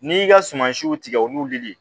N'i y'i ka sumansiw tigɛ olu lili